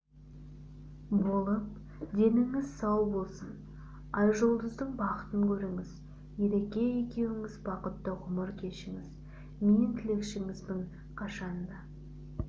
болып деніңіз сау болсын айжұлдыздың бақытын көріңіз ереке екеуіңіз бақытты ғұмыр кешіңіз мен тілекшіңізбін қашанда